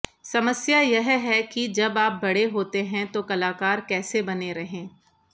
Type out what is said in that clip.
समस्या यह है कि जब आप बड़े होते हैं तो कलाकार कैसे बने रहें